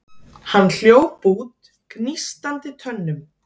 Hann hljóp út gnístandi tönnum.